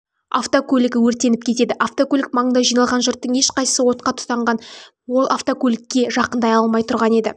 автокөлігі өртеніп кетеді автокөлік маңында жиналған жұрттың ешқайсысы отқа оранған автокөлікке жақындай алмай тұрған еді